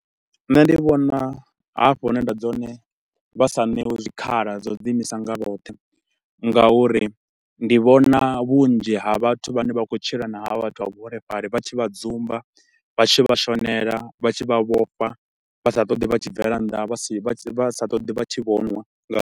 Nṋe ndi vhona hafha hune nda dzula hone vha sa ṋewi zwikhala zwa u ḓi imisa nga vhoṱhe nga uri ndi vhona vhunzhi ha vhathu vhane vha khou tshila na ha vha vhathu vha vhuholefhali vha tshi vha dzumba, vha tshi vha shonela, vha tshi vha vhofha. Vha sa ṱoḓi vha tshi bvela nnḓa, Vha vha sa ṱoḓi vha tshi vhonwa nga.